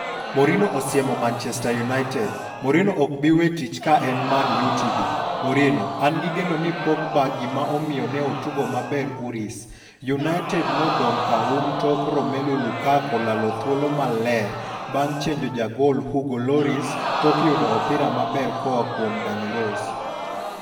Mourinho osiemo Manchester United. Mourinho ok bi wee tich ka en Man Utd' .Mourinho: An gi geno ni Pogba gima omiyo ne otugo maber Urusi. United nodong' ka um tok Romelu Lukaku lalo thuolo maler bang' chenjo jagol Hugo Lloris tok yudo opira maber koa kuom Danny Rose.